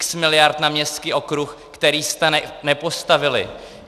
X miliard na městský okruh, který jste nepostavili.